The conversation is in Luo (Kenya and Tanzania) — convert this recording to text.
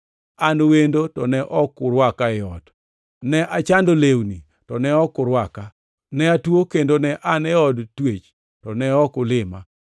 ne an wendo, to ne ok urwaka ei ot; ne achando lewni, to ne ok urwaka; ne atuo kendo ne an e od twech, to ne ok ulima?’